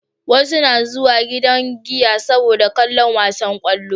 Wasu na zuwa gidan giya saboda kallon wasan kwallo